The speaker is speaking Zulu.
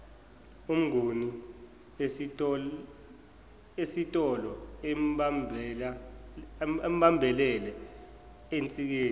umnguni esitoloebambelele ensikeni